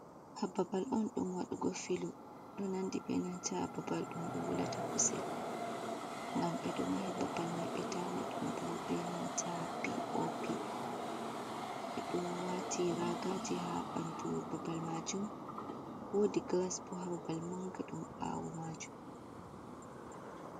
hababal on dum wadugo filu, ɗo nandi benantaa babal dum be wulata kusel gam bedo mahi babal mai be tanni dum bo benanta p o p. Ɓeɗo wati ragaji ha bandu babal majum, wodi glasbo hababal manga dum ɓawo majum.